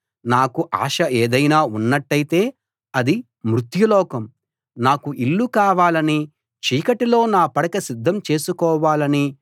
నాకు ఆశ ఏదైనా ఉన్నట్టయితే అది మృత్యులోకం నాకు ఇల్లు కావాలని చీకటిలో నా పడక సిద్ధం చేసుకోవాలని